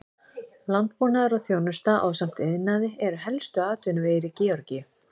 Landbúnaður og þjónusta ásamt iðnaði eru helstu atvinnuvegir í Georgíu.